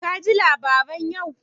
Ka ji labaran yau?